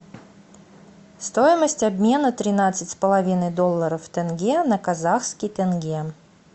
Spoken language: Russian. стоимость обмена тринадцать с половиной долларов в тенге на казахский тенге